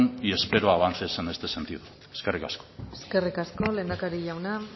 y espero avances en este sentido eskerrik asko eskerrik asko lehendakari jauna